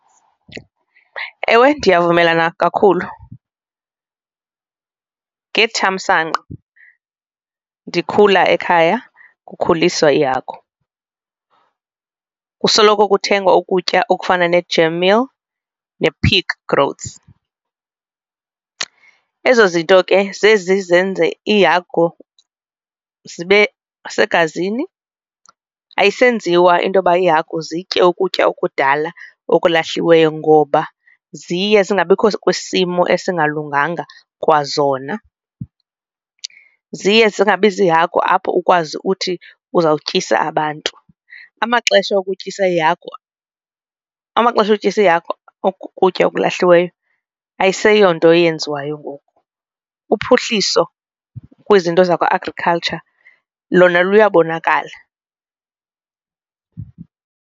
Ewe, ndiyavumelana kakhulu. Ngethamsanqa ndikhula ekhaya kukhuliswa iihagu kusoloko kuthengwa ukutya okufana ne-germ meal ne-pig groads, ezo zinto ke zezi zenze iihagu zibe segazini ayisenziwa intoba iihagu zitye ukutya okudala okulahliweyo ngoba ziye zingabikho kwisimo esingalunganga kwazona, ziye zingabi ziihagu apho ukwazi uthi uzawukutyisa abantu. Amaxesha okutyisa iihagu amaxesha okutyisa iihagu ukutya okulahliweyo ayiseyonto eyenziwayo ngoku, uphuhliso kwizinto zakwa-agriculture lona luyabonakala.